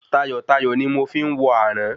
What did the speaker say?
Tayọ̀tayọ̀ ni mo fi ń wọ àrán